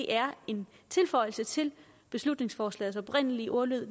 er en tilføjelse til beslutningsforslagets oprindelige ordlyd